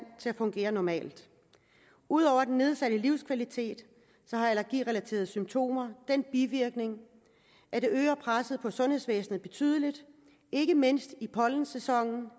til at fungere normalt ud over den nedsatte livskvalitet har allergirelaterede symptomer den bivirkning at det øger presset på sundhedsvæsenet betydeligt ikke mindst i pollensæsonen